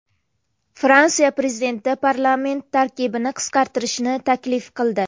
Fransiya prezidenti parlament tarkibini qisqartirishni taklif qildi.